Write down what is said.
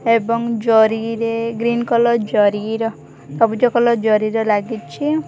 ଏବଂ ଜରି ରେ ଗ୍ରୀନ କଲର୍ ଜରି ର ସବୁଜ କଲର ଜରି ରେ ଲାଗିଛି।